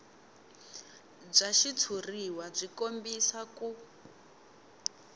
bya xitshuriwa byi kombisa ku